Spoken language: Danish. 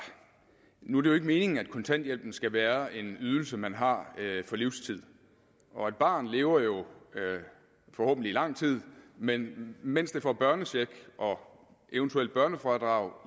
nu er det jo ikke meningen at kontanthjælpen skal være en ydelse man har for livstid og et barn lever jo forhåbentlig i lang tid men mens det får børnecheck og eventuelt børnefradrag